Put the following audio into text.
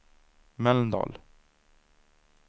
Mölndal